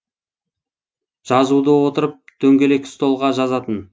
жазуды отырып дөңгелек столға жазатын